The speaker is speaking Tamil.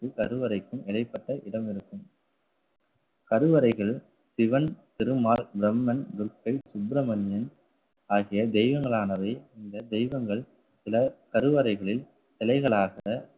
என்ற கருவறைக்கும் இடைப்பட்ட இடம் இருக்கும். கருவறைகள் சிவன் திருமால் பிரம்மன் துர்க்கை சுப்பிரமணியன் ஆகிய தெய்வங்களானவை இந்த தெய்வங்கள் சில கருவறைகளில் சிலைகளாக